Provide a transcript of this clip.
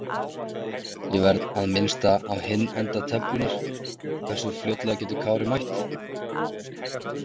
Ég verð að minnast á hinn enda töflunnar- Hversu fljótlega getur Kári mætt?